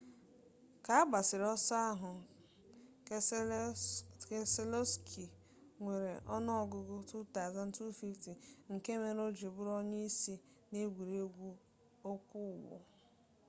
ka agbasiri oso a keselowski nwere onuogugu 2,250 nke mere oji buru onye isi na egwuregwu okwo ugbo